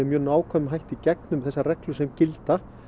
mjög nákvæmlega í gegnum þessar reglur sem gilda